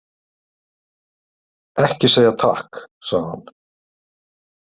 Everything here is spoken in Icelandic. Ekki segja takk, sagði hann.